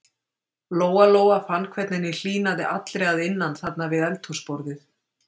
Lóa-Lóa fann hvernig henni hlýnaði allri að innan þarna við eldhúsborðið.